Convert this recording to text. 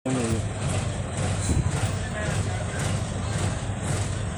Ore eramatare osingir toreyiata naa enkoitoi sidai neitoishoi isingir.